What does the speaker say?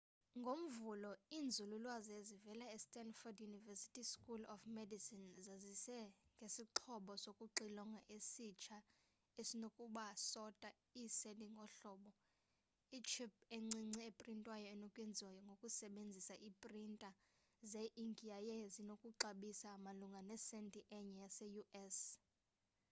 ngomvulo iinzululwazi ezivela estandford university school of medicine zazise ngesixhobo sokuxilonga esitsha esinoku sota iiseli ngohlobo itship encinci eprintwayo enokwenziwa ngokusebenzisa iiprinta ze inki yaye zinokuxabisa malunga nesenti enye yase u.s